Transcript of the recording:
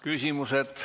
Küsimused.